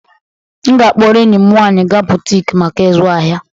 M ga-akpọrọ enyi m nwanyị gaa boutique maka ịzụ ahịa.